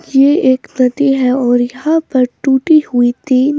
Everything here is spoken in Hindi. यह एक नदी है और यहाँ पर टूटी हुई तीन --